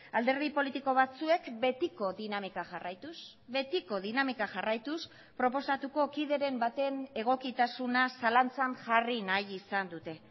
alderdi politiko batzuek betiko dinamika jarraituz betiko dinamika jarraituz proposatuko kideren baten egokitasuna zalantzan jarri nahi izan dute